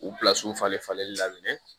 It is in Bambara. U falen falenli daminɛ